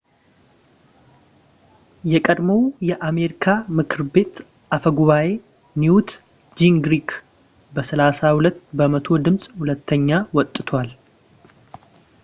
የቀድሞው የአሜሪካ የምክር ቤት አፈ ጉባኤ ኒውት ጂንግሪክ በ32 በመቶ ድምጽ ሁለተኛ ወጥቷል